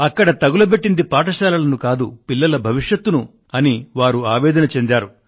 అక్కడ తగలబెట్టింది పాఠశాలలను కాదు పిల్లల భవిష్యత్ ను అని వారు ఆవేదన చెందారు